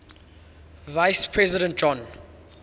vice president john